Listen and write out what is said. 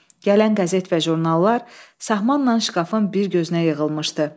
Gələn qəzet və jurnallar sahmanla şkafın bir gözünə yığılmışdı.